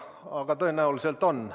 Aga tõenäoliselt on.